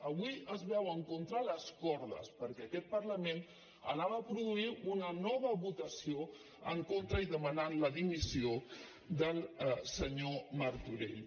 avui es veuen contra les cordes perquè aquest parlament anava a produir una nova votació en contra i demanar la dimissió del senyor martorell